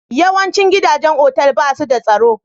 Yawancin gidajen otal ba su da tsaro?